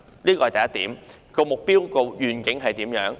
這是第一點，那目標和願景是怎樣？